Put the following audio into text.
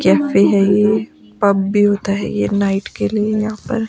cafe है ये pub भी होता है ये नाइट के लिए यहां पर--